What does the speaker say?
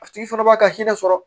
A tigi fana b'a ka hinɛ sɔrɔ